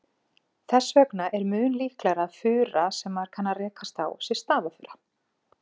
Þess vegna er mun líklegra að fura sem maður kann að rekast á sé stafafura.